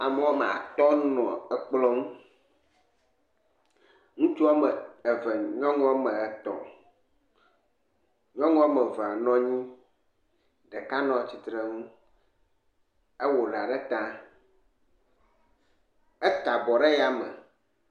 Ame woame atɔ̃ wonɔ ekplɔ ŋu ŋutsu woame eve nyɔnu woame etɔ̃, nyɔnu woame evea nɔ anyi ɖeka nɔ tsitre nu ewɔ ɖa ɖe ta eka bɔ ɖe yame.